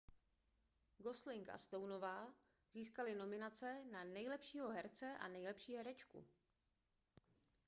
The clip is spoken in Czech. gosling a stoneová získali nominace na nejlepšího herce a nejlepší herečku